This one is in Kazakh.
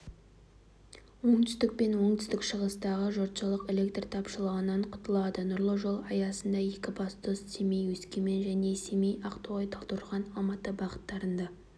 оңтүстік пен оңтүстік шығыстағы жұртшылық электр тапшылығынан құтылады нұрлы жол аясында екібастұз-семей-өскемен және семей-ақтоғай-талдықорған-алматы бағыттарында жоғары